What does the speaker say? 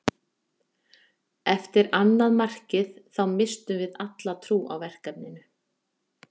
Eftir annað markið þá misstum við alla trú á verkefninu.